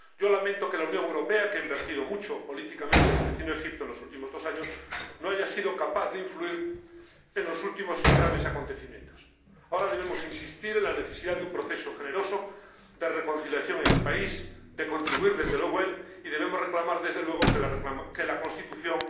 Yo lamento que la Unión Europea, que ha invertido mucho políticamente en el vecino Egipto en los últimos dos años, no haya sido capaz de influir en los últimos y graves acontecimientos. Ahora debemos insistir en la necesidad de un proceso generoso de reconciliación en el país, y contribuir desde luego al mismo, y debemos reclamar, por supuesto, que la elaboración de su constitución